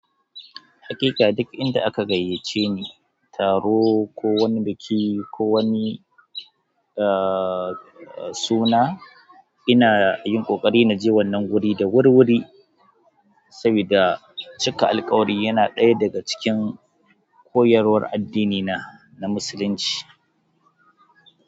Haƙiƙa duk inda aka gayyace ni, taro ko wani biki ko wani, ahhh suna, ina yin ƙoƙari na je wannan guri da wurwuri, saboda cika alƙawari yana ɗaya daga cikin koyarwar addinina na musulunci.